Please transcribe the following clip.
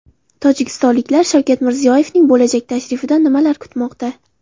Tojikistonliklar Shavkat Mirziyoyevning bo‘lajak tashrifidan nimalar kutmoqda?.